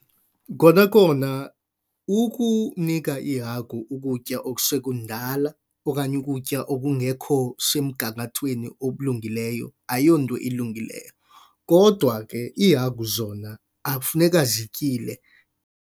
Kona kona ukunika iihagu ukutya okusekundala okanye ukutya okungekho semgangathweni obulungileyo ayonto ilungileyo. Kodwa ke iihagu zona akufuneka zityile.